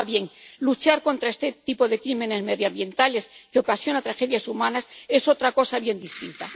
Ahora bien, luchar contra este tipo de crímenes medioambientales, que ocasiona tragedias humanas, es otra cosa bien distinta.